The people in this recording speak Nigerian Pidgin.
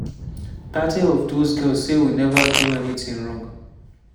thirty of dose girls say we neva do anytin wrong.